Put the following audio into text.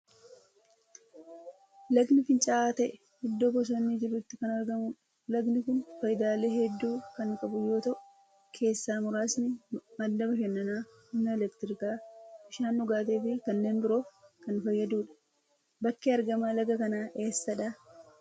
Lagnii fincaa'aa ta'e idoo bosonni jirutti kan argamudha. Lagni kun faayidaalee hedduu kan qabu yoo ta'u, keessaa muraasni madda bashannanaa, humna elektirikaa, bishaan dhugaatii fi kaneen biroof kan fayyadudha. Bakki argama laga kanaa eessadha?